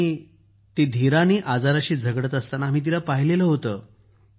आम्ही ती शौर्यानं आजाराशी झगडत असताना आम्ही पाहिलं होतं